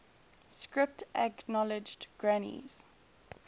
script acknowledged granny's